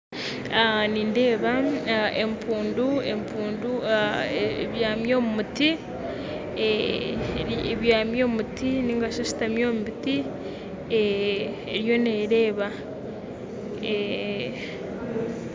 Nindeeba empundu empundu ebyami omumuti ebyami omumuti, ningashi esitami omubiti eriyo nereeba.